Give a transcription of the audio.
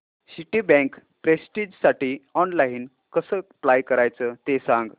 Citibank प्रेस्टिजसाठी online कसं apply करायचं ते सांग